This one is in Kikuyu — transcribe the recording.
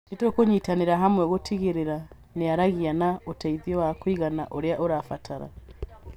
nĩtũkũnyitanĩra hamwe gũtigĩrĩra nĩaragĩa na ũteithio wa kũigana ũrĩa arabatara